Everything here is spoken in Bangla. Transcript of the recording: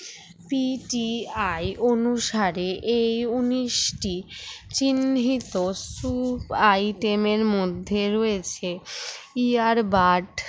PTI অনুসারে এই উনিশটি চিহ্নিত সু item এর মধ্যে রয়েছে ear bird